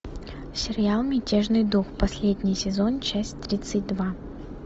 сериал мятежный дух последний сезон часть тридцать два